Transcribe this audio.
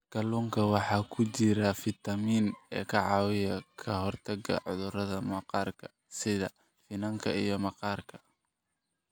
Kalluunka waxaa ku jira fiitamiin e ka caawiya ka hortagga cudurrada maqaarka sida finanka iyo maqaarka.